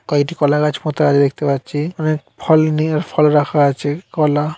কয়টি কলা গাছ পোতা আছে দেখতে পাচ্ছি। অনেক ফল নিয়ে ফল রাখা আছে কলা--